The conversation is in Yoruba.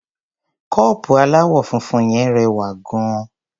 Kọ́ọ̀pù aláwọ̀ funfun yẹn rẹwà gan-an.